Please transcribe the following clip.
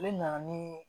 Ne na na nii